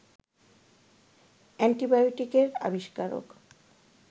অ্যান্টিবায়োটিকের আবিস্কারক